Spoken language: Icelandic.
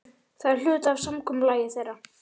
Það er hluti af samkomulagi þeirra.